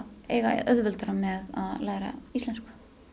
eiga auðveldara með að læra íslensku